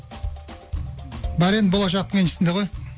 бәрі енді болашақтың еншісінде ғой